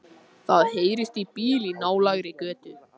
Það heyrist í bíl í nálægri götu.